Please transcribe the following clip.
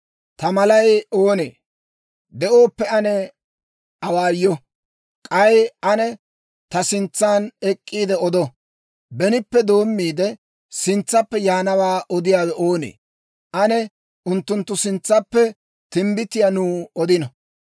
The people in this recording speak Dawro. Ta malay oonee? De'ooppe ane awaayo; k'ay ane ta sintsan ek'k'iide odo. Benippe doommiide, sintsaappe yaanawaa odiyaawe oonee? Ane unttunttu sintsaappe timbbitiyaa nuw odino.